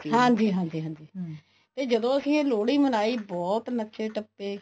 ਹਾਂਜੀ ਹਾਂਜੀ ਜਦੋਂ ਇਹ ਲੋਹੜੀ ਮਨਾਈ ਬਹੁਤ ਨੱਚੇ ਟੱਪੇ